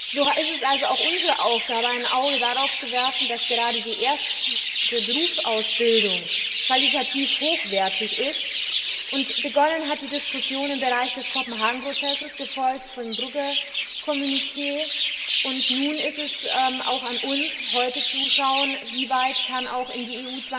So ist es also auch unsere Aufgabe, ein Auge darauf zu werfen, dass gerade die erste Berufsausbildung qualitativ hochwertig ist. Begonnen hat die Diskussion im Bereich des Kopenhagen Prozesses, gefolgt vom Brügge Kommuniqué, und nun ist es auch an uns, zu schauen, inwieweit dieser Bereich auch in die